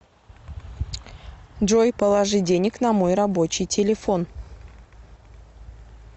джой положи денег на мой рабочий телефон